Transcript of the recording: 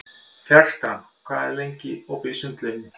Fertram, hvað er lengi opið í Sundhöllinni?